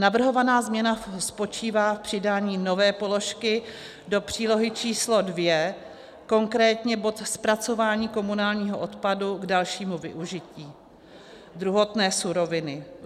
Navrhovaná změna spočívá v přidání nové položky do přílohy číslo 2, konkrétně bod zpracování komunálního odpadu k dalšímu využití druhotné suroviny.